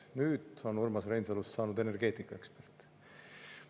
Nüüd on Urmas Reinsalust saanud energeetikaekspert.